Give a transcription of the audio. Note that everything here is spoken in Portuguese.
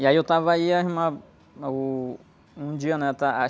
E aí eu estava aí, a irmã, ah, uh... Um dia, né? A...